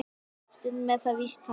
Stundum er það víst þannig.